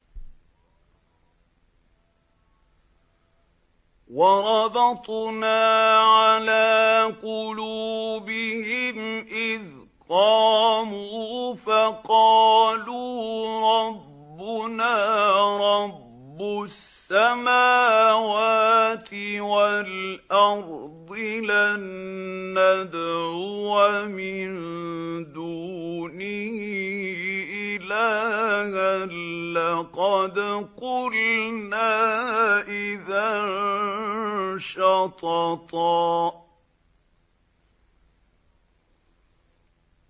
وَرَبَطْنَا عَلَىٰ قُلُوبِهِمْ إِذْ قَامُوا فَقَالُوا رَبُّنَا رَبُّ السَّمَاوَاتِ وَالْأَرْضِ لَن نَّدْعُوَ مِن دُونِهِ إِلَٰهًا ۖ لَّقَدْ قُلْنَا إِذًا شَطَطًا